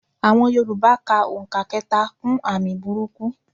Àọn yorùbá ka òǹkà kẹta kún àmì burúkú.